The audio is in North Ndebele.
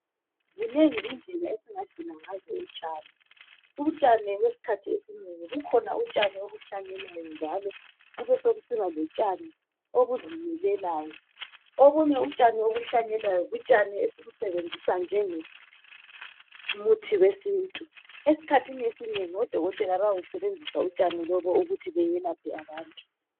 zinengi indlela esingadinga ngazo utshani, utshani okwesikhathi esinengi kukhona utshani obuhlanyelwayo njalo kube sokusiba lotshani obuzimilelayo obunye utshani obuhlanyelwayo butshani esibusebenzisa njengo muthi wesintu esikhathini esinengi odokotela bayawusebenzisa utshani lobu ukuba belaphe abantu